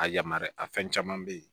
A yamaruya a fɛn caman be yen